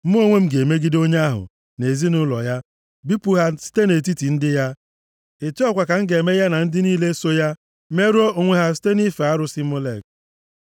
mụ onwe m ga-emegide onye ahụ na ezinaụlọ ya bipụ ha site nʼetiti ndị ya. Otu a kwa ka m ga-eme ya na ndị niile so ya merụọ onwe ha site nʼife arụsị Molek.